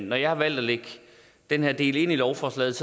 når jeg har valgt at lægge den her del ind i lovforslaget